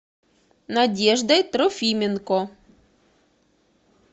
надеждой трофименко